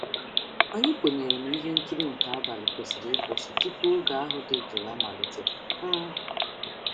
Anyị kwenyere na ihe nkiri nke abalị kwesịrị ịkwụsị tupu oge ahụ dị jụụ amalite. um